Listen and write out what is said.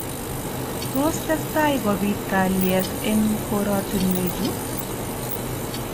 Tos testai kobit kalyet eng korotinwechu ?